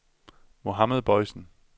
Mohammad Boysen